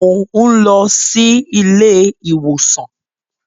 Mò ń lọ ilé-ìwòsàn.